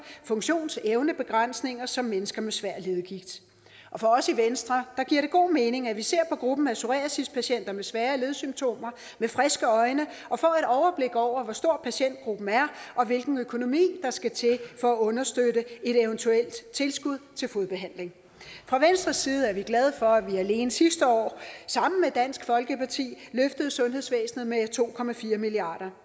funktionsevnebegrænsninger som mennesker med svær leddegigt for os i venstre giver det god mening at vi ser på gruppen af psoriasispatienter med svære ledsymptomer med friske øjne og får et overblik over hvor stor patientgruppen er og hvilken økonomi der skal til for at understøtte et eventuelt tilskud til fodbehandling fra venstres side er vi glade for at vi alene sidste år sammen med dansk folkeparti løftede sundhedsvæsenet med to milliard